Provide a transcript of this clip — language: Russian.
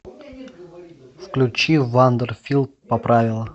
включи вандер фил поправила